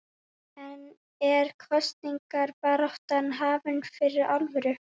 En er kosningabaráttan hafin fyrir alvöru?